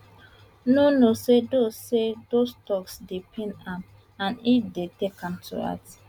no no say those say those toks dey pain am and e dey take am to heart